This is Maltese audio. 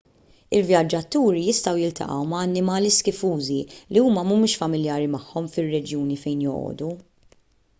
il-vjaġġaturi jistgħu jiltaqgħu ma' annimali skifużi li huma mhumiex familjari magħhom fir-reġjuni fejn joqogħdu